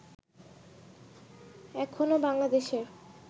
এখনও বাংলাদেশের